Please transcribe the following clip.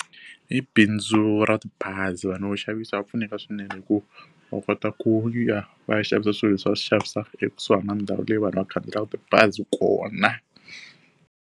I bindzu ra tibazi vanhu vo xavisa va pfuneka swinene hikuva va kota ku ya va ya xavisa swilo leswi va swi xavisaka ekusuhi na ndhawu leyi vanhu va khandziyaka tibazi kona.